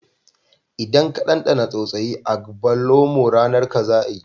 Idan ka dandana tsautsayi agbalumo, ranar ka za a yi